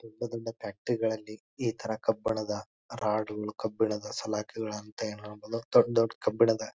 ದೊಡ್ಡ ದೊಡ್ಡ ಫ್ಯಾಕ್ಟರಿ ಗಳಲ್ಲಿ ಈ ತರ ಕಬ್ಬಿಣದ ರಾಡ್ ಕಬ್ಬಿಣದ ಸಲಾಕೆಗಳನ್ನು ತಯಾರು ಮಾಡಲು ದೊಡ್ ದೊಡ್ ಕಬ್ಬಿಣದ --